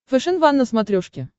фэшен ван на смотрешке